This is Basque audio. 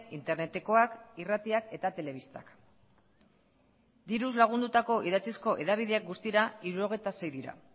internetekoak irratiak eta telebistak diruz lagundutako idatzizko hedabideak guztira hirurogeita sei dira